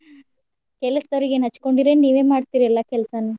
ಕೆಲಸ್ದವ್ರಿಗೇನ್ ಹಚ್ಕೊಂಡಿರೇನ್ ನೀವೇ ಮಾಡ್ತೀರಿ ಎಲ್ಲಾ ಕೆಲ್ಸಾನು?